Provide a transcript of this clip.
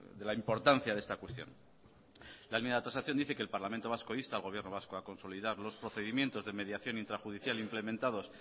de la importancia de esta cuestión la enmienda de transacción dice que el parlamento vasco insta al gobierno vasco a consolidar los procedimientos de mediación intrajudicial implementados